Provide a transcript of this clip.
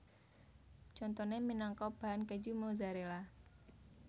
Contoné minangka bahan kèju Mozzarella